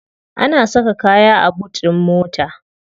Ana saka kaya a boot din mota.